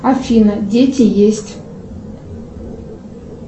афина дети есть